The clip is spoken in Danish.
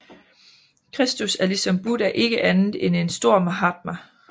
Kristus er ligesom Buddha ikke andet end en stor mahatma